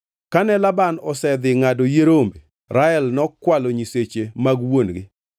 Kane Laban osedhi ngʼado yie rombe, Rael nokwalo nyiseche mag wuon-gi.